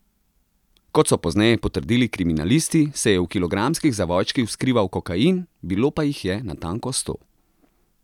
Kot so pozneje potrdili kriminalisti, se je v kilogramskih zavojčkih skrival kokain, bilo pa jih je natanko sto.